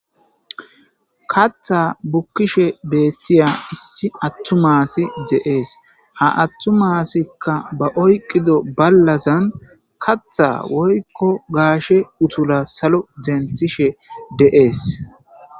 Kaththa bukkishe issi attua asayi de7ees,ha attuma asi ba oyqqida ballazan kaththa woykko gaashe uppula salo denthishe dees.